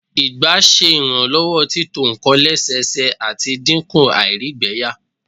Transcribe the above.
ẹyin ọgba ṣe iranlọwọ tito nkan lẹsẹsẹ, ati dinku àìrígbẹyà